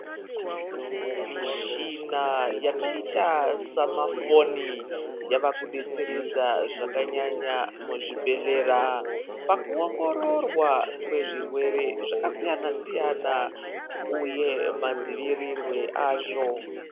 Mishina yakaita semafoni yakudetseredza zvakanyanya muzvibhedhlera pakuongororwa kwezvirwere zvakasiyana siyana uye madzivirirwe azvo.